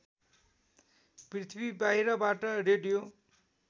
पृथ्वी बाहिरबाट रेडियो